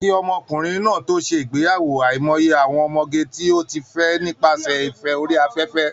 Kí ọmọkùnrin náà tó ṣe ìgbéyàwó, àìmọye àwọn ọmọge tó ti fẹ́ nípasẹ̀ ìfẹ́ orí afẹ́fẹ́